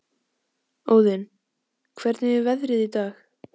Óðinn, hvernig er veðrið í dag?